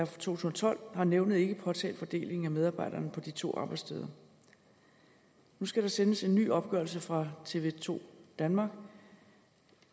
to tusind og tolv har nævnet ikke påtalt fordelingen af medarbejderne på de to arbejdssteder nu skal der sendes en ny opgørelse fra tv to danmark